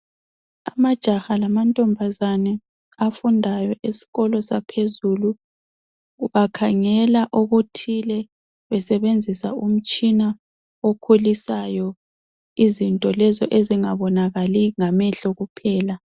Amajaha lamantombazane afundayo esikolo saphezulu, bakhangela okuthile besebenzisa umtshina okhulisayo izinto lezo ezingabonakali ngamehlo kuphela.